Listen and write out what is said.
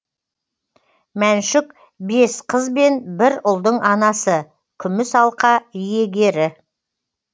мәншүк бес қыз бен бір ұлдың анасы күміс алқа иегері